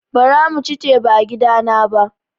Bara bamu ci teba a gida na ba